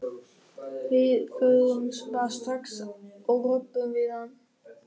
Við förum bara strax og röbbum við hann.